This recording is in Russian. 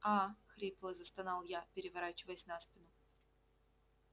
аа хрипло застонал я переворачиваясь на спину